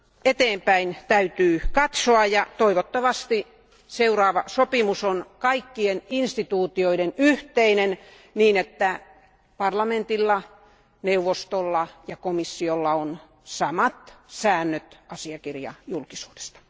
Eteenpäin täytyy kuitenkin katsoa, ja toivottavasti seuraava sopimus on kaikkien instituutioiden yhteinen, niin että parlamentilla, neuvostolla ja komissiolla on samat säännöt asiakirjajulkisuudesta.